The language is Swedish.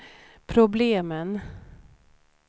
problemen